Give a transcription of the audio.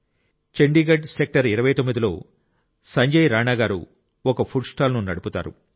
Chandigarh sector 29 లో సంజయ్ రాణా గారు ఒక ఫుడ్ స్టాల్ నడుపుతారు